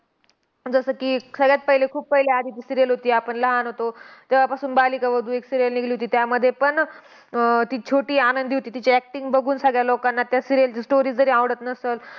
जसं की, सगळ्यात पहिले खूप पहिलं आधी ती serial होती, आपण लहान होतो तेव्हापासून बालिका वधू एक serial निघली होती. त्यामध्ये पण अह ती छोटी आनंदी होती. तिची acting बघून सगळ्या लोकांना त्या serial ची story जरी आवडत नसंल,